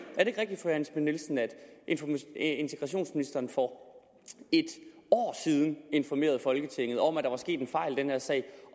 er nielsen at integrationsministeren for et år siden informerede folketinget om at der var sket en fejl i den her sag